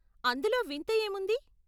అందులో వింత ఏముంది?